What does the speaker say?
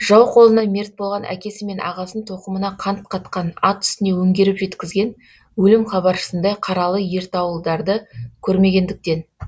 жау қолынан мерт болған әкесі мен ағасын тоқымына қан қатқан ат үстіне өңгеріп жеткізген өлім хабаршысындай қаралы ертауылдарды көрмегендіктен